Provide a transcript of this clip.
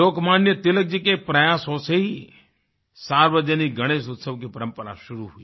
लोकमान्य तिलक जी के प्रयासों से ही सार्वजनिक गणेश उत्सव की परंपरा शुरू हुई